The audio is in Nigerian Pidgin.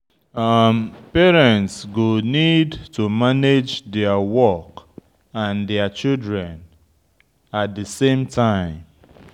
Parents go need to manage their work and their children at the same time